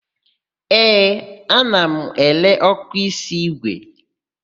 Ee, ana m ere ọ́kụ́ísí ígwè.